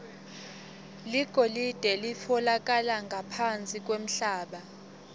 ligolide litfolakala ngaphansi kwemhlaba